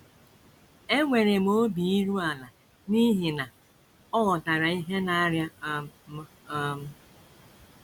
Enwere m obi iru ala n’ihi na ọ ghọtara ihe na - arịa um m um. ”